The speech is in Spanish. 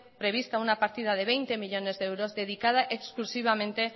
prevista una partida de veinte millónes de euros dedicada exclusivamente